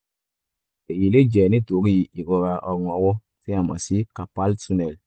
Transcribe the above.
èyí lè jẹ́ nítorí ìrora ọrùn ọwọ́ tí a mọ̀ sí carpal tunnel